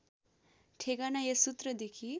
ठेगाना यस सूत्रदेखि